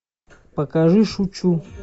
покажи шучу